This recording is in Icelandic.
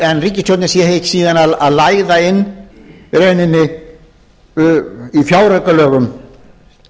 en ríkisstjórnin sé síðan að læða inn í rauninni í fjáraukalögum